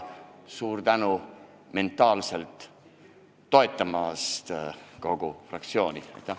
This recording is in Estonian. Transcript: Suur tänu mentaalselt toetamast kogu fraktsioonile!